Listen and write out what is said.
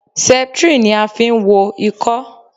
Septrin ni a fi ń wo Ìkọ́.